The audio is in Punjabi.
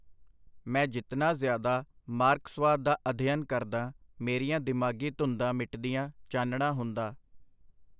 ਮੈਂ ਜਿਤਨਾ ਜ਼ਿਆਦਾ ਮਾਰਕਸਵਾਦ ਦਾ ਅਧਿਅਨ ਕਰਦਾ, ਮੇਰੀਆਂ ਦਿਮਾਗੀ ਧੁੰਦਾਂ ਮਿਟਦੀਆਂ, ਚਾਨਣਾ ਹੁੰਦਾ.